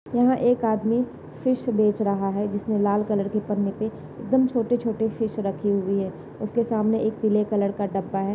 यहाँ एक आदमी फिश बेच रहा है। जिसने लाल कलर की पन्नी पे एकदम छोटे छोटे फिश रखे हुए है। उसके सामने एक पीले कलर का डब्बा है।